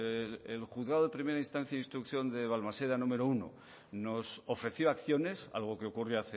el juzgado de primera instancia y de instrucción de balmaseda número uno nos ofreció acciones algo que ocurre